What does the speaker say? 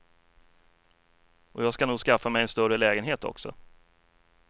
Och jag ska nog skaffa mig en större lägenhet också.